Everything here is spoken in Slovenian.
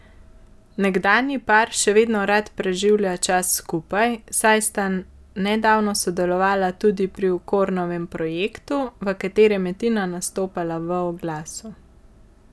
Nekdanji par še vedno rad preživlja čas skupaj, saj sta nedavno sodelovala tudi pri Okornovem projektu, v katerem je Tina nastopala v oglasu.